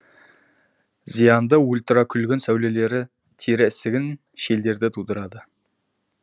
зиянды ультрокүлгін сәулелері тері ісігін шелдерді тудырады